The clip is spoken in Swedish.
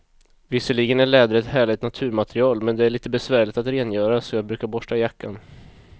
Visserligen är läder ett härligt naturmaterial, men det är lite besvärligt att rengöra, så jag brukar borsta jackan.